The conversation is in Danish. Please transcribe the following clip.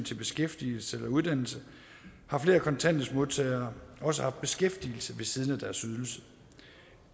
til beskæftigelse eller uddannelse har flere kontanthjælpsmodtagere også haft beskæftigelse ved siden af deres ydelser